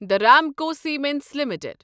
the Ramco Cements limited